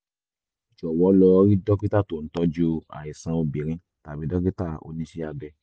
jọ̀wọ́ lọ rí dókítà tó ń tọ́jú àìsàn obìnrin tàbí dókítà oníṣẹ́ abẹ